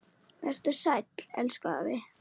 Vertu sæll, elsku afi.